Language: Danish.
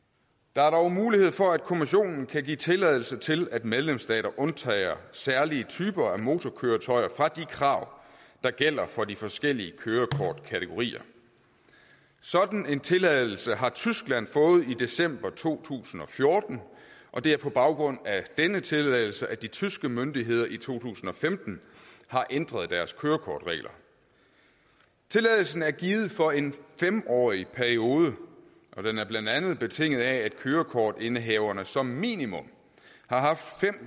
der er dog mulighed for at kommissionen kan give tilladelse til at medlemsstater undtager særlige typer af motorkøretøjer fra de krav der gælder for de forskellige kørekortkategorier sådan en tilladelse har tyskland fået i december to tusind og fjorten og det er på baggrund af denne tilladelse at de tyske myndigheder i to tusind og femten har ændret deres kørekortregler tilladelsen er givet for en fem årig periode og den er blandt andet betinget af at kørekortindehaverne som minimum